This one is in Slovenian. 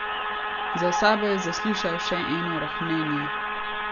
Za sabo je zaslišal še eno rohnenje.